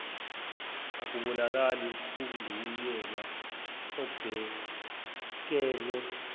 okubonakala kunguyena obhekene